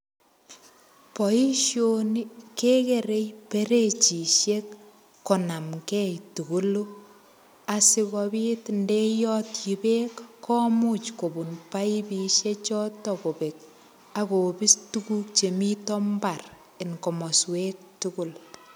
Boishoni kekerei perechishek konamgei tugulu asikobit ndeyotchi beek komuch kobun paipushek chotok kobek akopis tukuk chemito mbar eng komoswek tugul.